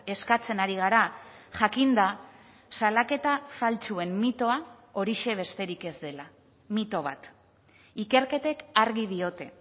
eskatzen ari gara jakinda salaketa faltsuen mitoa horixe besterik ez dela mito bat ikerketek argi diote